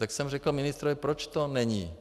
Tak jsem řekl ministrovi - proč to není?